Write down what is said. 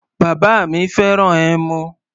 Bàbá mi fẹ́ràn ẹmu.